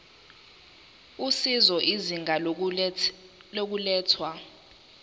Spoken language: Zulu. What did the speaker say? usizo izinga lokulethwa